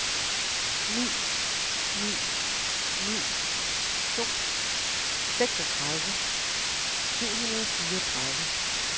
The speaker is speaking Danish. ni ni ni to seksogtredive syv hundrede og fireogtredive